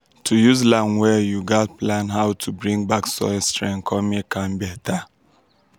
to use land well you gatz plan how to bring back soil strength con make am better.